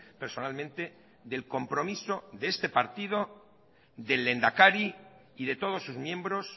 personalmente del compromiso de este partido del lehendakari y de todos sus miembros